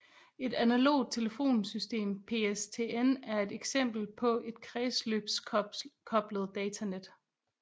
Et analogt telefonsystem PSTN er et eksempel på et kredsløbskoblet datanet